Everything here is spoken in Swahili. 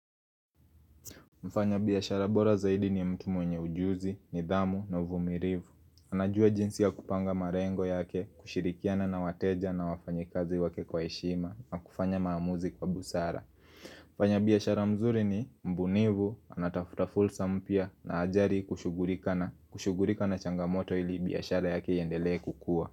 Mfanya biyashara bora zaidi ni mtu mwenye ujuzi, nidhamu na vumirivu anajua jinsi ya kupanga marengo yake, kushirikiana na wateja na wafanyi kazi wake kwa heshima na kufanya maamuzi kwa busara Mfanya biyashara mzuri ni mbunivu, anatafuta fulsa mpya na ajari kushugurika na changamoto ili biyashara yake iyendele kukua.